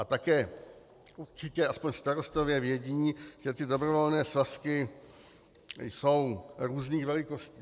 A také určitě aspoň starostové vědí, že ty dobrovolné svazky jsou různých velikostí.